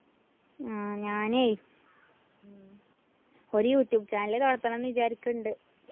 ഉം ഞാനേ ഒരു യൂട്യൂബ് channel ല് തൊറക്കണന്ന് വിചാരിക്ക്ണ്ട്.